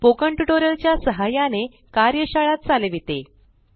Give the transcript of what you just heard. spoken tutorial च्या सहाय्याने कार्यशाळा चालविते